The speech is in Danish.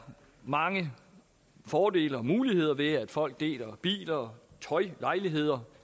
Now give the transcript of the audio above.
mange fordele og muligheder ved at folk deler biler tøj lejligheder